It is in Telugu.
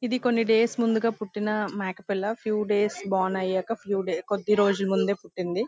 ఇది కొన్ని డేస్ ముందుగా పుట్టిన మేక పిల్ల ఫ్యూ డేస్ బోర్న్ అయ్యాక ఫ్యూ డేస్ కొద్దీ రోజులా ముందు పుట్టింది.